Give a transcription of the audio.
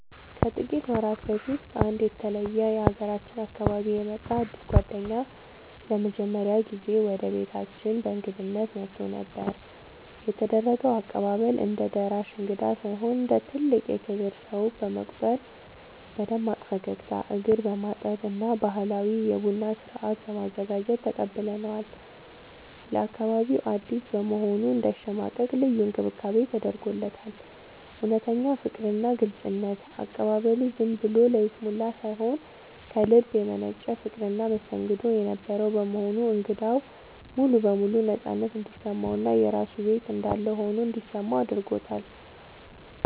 ከጥቂት ወራት በፊት ከአንድ የተለየ የሀገራችን አካባቢ የመጣ አዲስ ጓደኛዬ ለመጀመሪያ ጊዜ ወደ ቤታችን በእንግድነት መጥቶ ነበር። የተደረገው አቀባበል፦ እንደ ደራሽ እንግዳ ሳይሆን እንደ ትልቅ የክብር ሰው በመቁጠር በደማቅ ፈገግታ፣ እግር በማጠብ እና ባህላዊ የቡና ስነ-ስርዓት በማዘጋጀት ተቀብለነዋል። ለአካባቢው አዲስ በመሆኑ እንዳይሸማቀቅ ልዩ እንክብካቤ ተደርጎለታል። እውነተኛ ፍቅርና ግልጽነት፦ አቀባበሉ ዝም ብሎ ለይስሙላ ሳይሆን ከልብ የመነጨ ፍቅርና መስተንግዶ የነበረው በመሆኑ እንግዳው ሙሉ በሙሉ ነፃነት እንዲሰማውና የራሱ ቤት እንዳለ ሆኖ እንዲሰማው አድርጎታል።